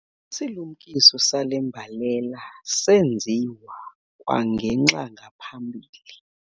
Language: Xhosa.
Isilumkiso sale mbalela senziwa kwangenxa ngaphambili.